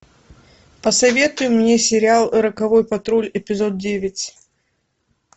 посоветуй мне сериал роковой патруль эпизод девять